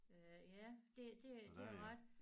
Øh ja det det det har du ret